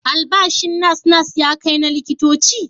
Albashin nas-nas ya kai na likitoci?